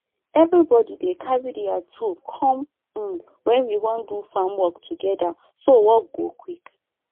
everybody dey carry their tool come um when we wan do farm work together so work go quick